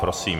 Prosím.